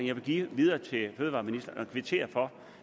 jeg give videre til fødevareministeren og kvittere for